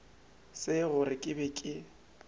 se gore ke be ke